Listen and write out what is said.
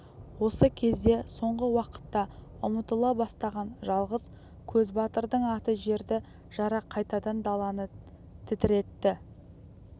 осы кезде соңғы уақытта ұмытыла бастаған жалғыз көзбатырдың аты жерді жара қайтадан даланы тітіретті